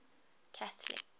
catholic